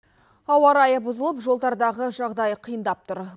ауа райы бұзылып жолдардағы жағдай қиындап тұр